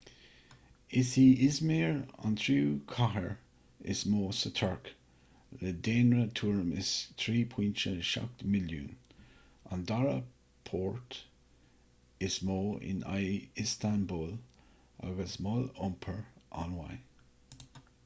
is í i̇zmir an tríú cathair is mó sa tuirc le daonra tuairim is 3.7 milliúin an dara port is mó i ndiaidh iostanbúl agus mol iompair an-mhaith